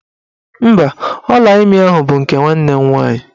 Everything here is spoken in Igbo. Mba, ọlaimi ahụ bụ nke nwanne m nwaanyị.